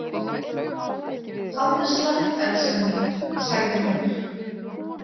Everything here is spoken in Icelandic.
Hafðu slökkt elskan mín, sagði hún.